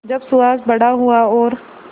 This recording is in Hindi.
जब सुहास बड़ा हुआ और